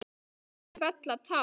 Jafnvel fella tár.